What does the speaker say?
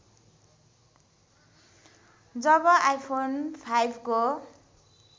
जब iPhone फाइभको